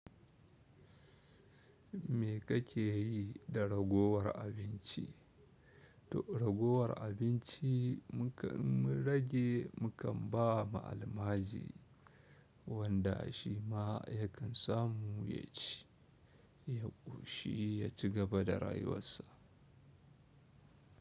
Me kake yi da ragowar abinci? To ragowar abinci mu kan rage mu kan ba ma almajiri wanda shi ma yakan samu ya ci, yaƙoshi ya cigaba da rayuwarsa.